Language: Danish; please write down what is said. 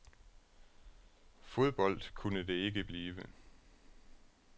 Fodbold kunne det ikke blive.